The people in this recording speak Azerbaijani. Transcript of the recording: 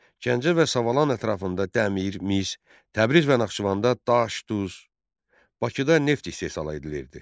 Gəncə və Savalan ətrafında dəmir, mis, Təbriz və Naxçıvanda daş duz, Bakıda neft istehsal edilirdi.